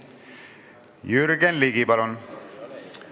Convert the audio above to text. Jürgen Ligi, palun!